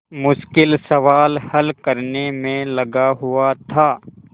मुश्किल सवाल हल करने में लगा हुआ था